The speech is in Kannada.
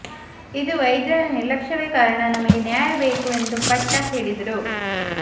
ಇದು ವೈದ್ಯರ ನಿರ್ಲಕ್ಷ್ಯವೆ ಕಾರಣ ನಮಗೆ ನ್ಯಾಯ ಬೇಕು ಅಂತಾ ಪಟ್ಟು ಹಿಡಿದ್ರು